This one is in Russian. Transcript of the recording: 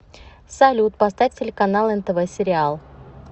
салют поставь телеканал нтв сериал